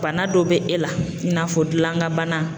Bana dɔ be e la i n'a fɔ dilan kan bana.